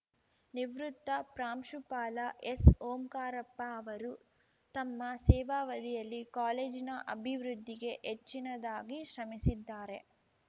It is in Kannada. ನಿವೃತ್ತ ಪ್ರಾಂಶುಪಾಲ ಎಸ್‌ಓಂಕಾರಪ್ಪ ಅವರು ತಮ್ಮ ಸೇವಾವಧಿಯಲ್ಲಿ ಕಾಲೇಜಿನ ಅಭಿವೃದ್ಧಿಗೆ ಹೆಚ್ಚಿನದಾಗಿ ಶ್ರಮಿಸಿದ್ದಾರೆ